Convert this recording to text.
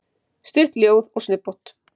Stutt ljóð og snubbótt.